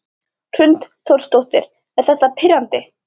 Hrund Þórsdóttir: Er þetta pirrandi?